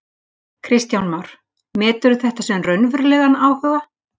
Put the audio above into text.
Kristján Már: Meturðu þetta sem raunverulegan áhuga?